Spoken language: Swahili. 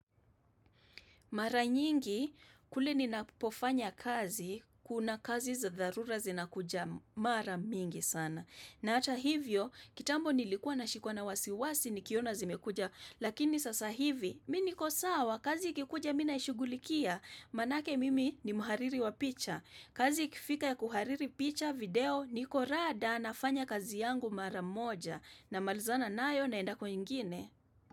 Mara nyingi, kule ninapofanya kazi, kuna kazi za dharura zinakuja mara mingi sana. Na hata hivyo, kitambo nilikua nashikwa na wasiwasi nikiona zimekuja, lakini sasa hivi, MI niko sawa, kazi ikikuja mi naishughulikia, manake mimi ni mhariri wa picha. Kazi ikifika ya kuhariri picha video, niko rada nafanya kazi yangu mara moja, na malizana nayo naenda kwengine.